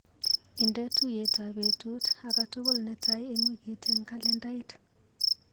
Indee tuiyetap betut akatukul netaai eng wikit eng kalendait.